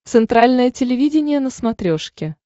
центральное телевидение на смотрешке